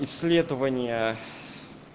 исследования